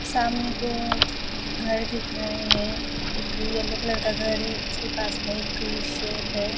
सामने को घर दिख रहे हैं एक येलो कलर का घर है उसके पास में एक शोप है।